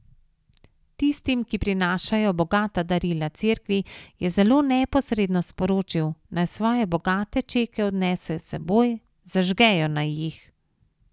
Tistim, ki prinašajo bogata darila Cerkvi, je zelo neposredno sporočil, naj svoje bogate čeke odnesejo s seboj, zažgejo naj jih.